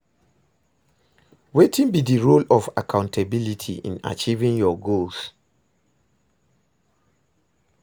Wetin be di role of accountability in achieving your goals?